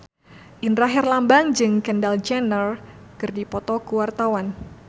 Indra Herlambang jeung Kendall Jenner keur dipoto ku wartawan